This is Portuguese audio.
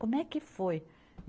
Como é que foi?